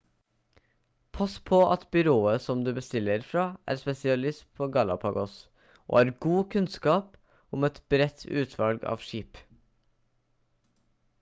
pass på at byrået som du bestiller fra er spesialist på galapagos og har god kunnskap om et bredt utvalg av skip